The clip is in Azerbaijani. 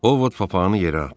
Ovod papağını yerə atdı.